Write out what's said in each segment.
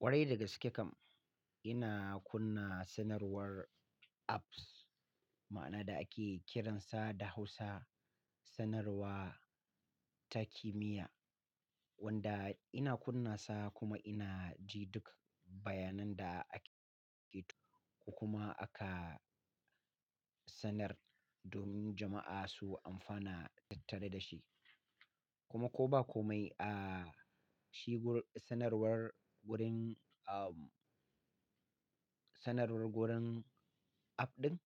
Kwarai da gaske kam. Ina kunna sanarwar apps, ma'ana da ake kiransa da Hausa sanarwa ta kimiyya, wanda ina kunna sa kuma ina ji duk bayanan da ake-ko kuma aka sanar domin jama'a su amfana tattare da shi. Kuma ko ba komai a shigo sanarwar wurin, am, sanarwar wurin app ɗin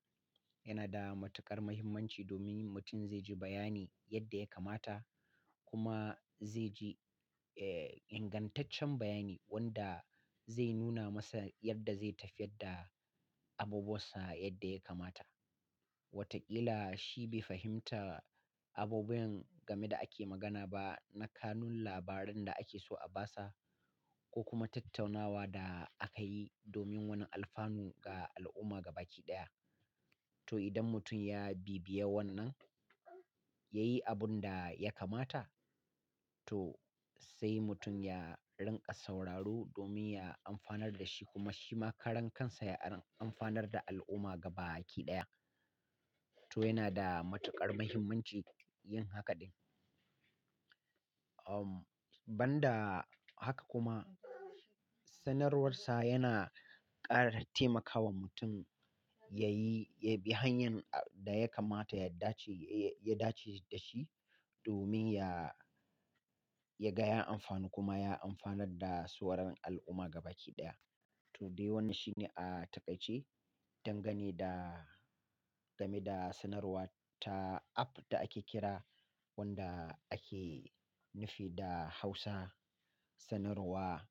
yana da matuƙar muhimmanci domin mutum zai ji bayani yadda ya kamata kuma zai ji, eh, ingantaccen bayani wanda zai nuna masa yadda zai tafiyar da abubuwansa yadda ya kamata. Watakila shi bai fahimta abubuwan game da ake magana ba na kanun labaran da ake so a ba sa ko kuma tattaunawa da aka yi domin wani alfanu ga al'umma gabaɗaya. To idan mutum ya bibiye wannan, ya yi abun da ya kamata, to sai mutum ya rinƙa sauraro domin ya amfanar da shi kuma shi ma karan kansa ya amfanar da al'umma gabaki ɗaya. To yana da matuƙar muhimmanci yin haka ɗin. Am, ban da haka kuma sanarwarsa yana ƙara taimakawa mutum yayi, ya bi hanyar da ya kamata ya dace, ya dace da shi domin ya, ya ga ya amfanu kuma ya amfanar da sauran al'umma gabaki ɗaya. To dai wannan shine a taƙaice dangane da, game da sanarwa ta app da ake kira wanda ake nufi da Hausa sanarwa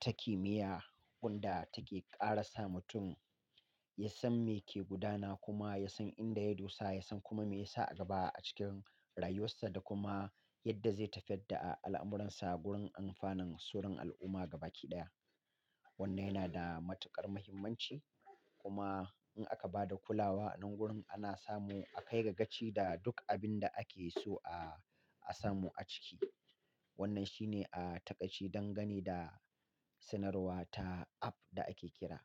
ta kimiyya wanda take ƙarasa mutum ya san me ke gudana kuma ya san inda ya dosa, ya san kuma me yasa a gaba a cikin rayuwarsa da kuma yadda zai tafiyar da al'amuransa wurin amfanin suran al'umma gabaɗaya. Wannan yana da matuƙar muhimmanci kuma in aka ba da kulawa nan wurin ana samu a kai ga ganci da duk abin da ake so a, a samu a ciki. Wannan shine a taƙaice dangane da sanarwa ta app da ake kira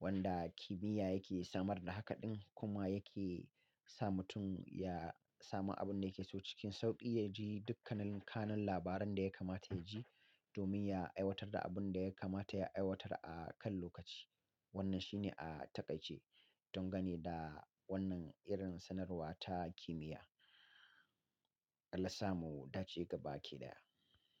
wanda kimiyya yake samar da haka ɗin kuma yake sa mutum ya samu abin da yake so cikin sauƙi, ya ji dukkanin kanun labaran da ya kamata ya ji domin ya aiwatar da abun da ya kamata ya aiwatar a kan lokaci. Wannan shine a taƙaice dangane da wannan irin sanarwa ta kimiyya. Allah samu dace gabaki ɗaya.